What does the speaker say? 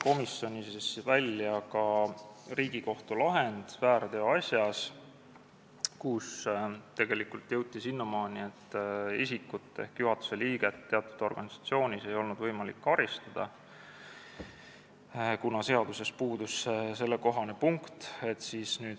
Komisjonis toodi välja ka Riigikohtu lahend väärteoasjas, kus tegelikult jõuti selleni, et isikut ehk teatud organisatsiooni juhatuse liiget ei olnud võimalik karistada, kuna seaduses puudus sellekohane punkt.